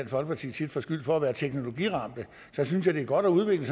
folkeparti tit får skyld for at være teknologiramte så synes jeg det er godt at udvikle